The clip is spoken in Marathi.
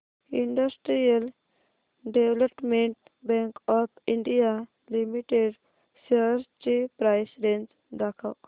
industrial development bank of India limited shares ची प्राइस रेंज दाखव